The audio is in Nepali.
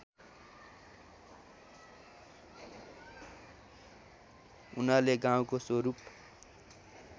उनले गाउँको स्वरूप